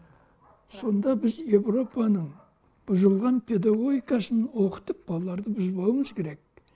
сонда біз европаның бұзылған педагогикасын оқытып балаларды бұзбауымыз керек